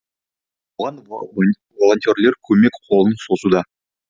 оған волонтерлер көмек қолын созуда